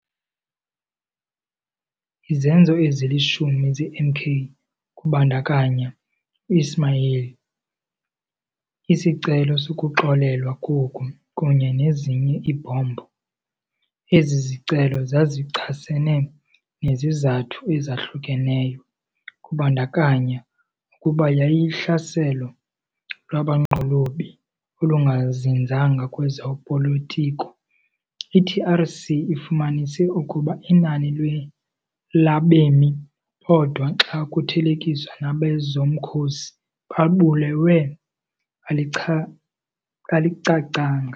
Izenzo ezilishumi zeMK, kubandakanya u-Ismail, isicelo sokuxolelwa koku kunye nezinye iibhombu. Ezi zicelo zazichasene nezizathu ezahlukeneyo, kubandakanya nokuba yayihlaselo lwabanqolobi olungazinzanga kwezopolitiko. I-TRC ifumanise ukuba inani labemi bodwa xa kuthelekiswa nabezomkhosi babulewe alicacanga.